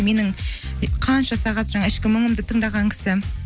менің қанша сағат жаңағы ішкі мұңымды тыңдаған кісі